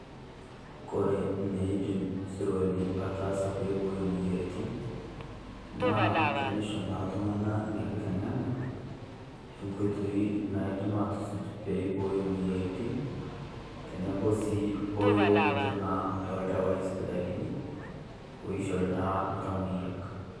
Kore neidim sirkali ataasa peyie eiboyoo moyiarritin, naa teneishoo naa iltung'ana nia kiteng'ena e nkotoi naidim atusuuj pee eibooyo moyiarritin, teneboo si o younotoo naa e dawai sipitalini oishore naa ltamoyiak.